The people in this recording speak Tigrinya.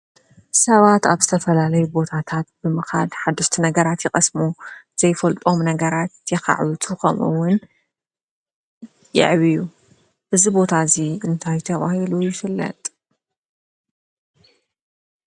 ሰባት ኣብ ስተፈላለይ ቦታታት ብምኻድ ሓድስቲ ነገራት ይቐስሙ ዘይፈልጦም ነገራት የኻዕቱ ኸምውን የዕብዩ እዝ ቦታ እዙይ እንታይ ተብሂሉ ይስለጥ?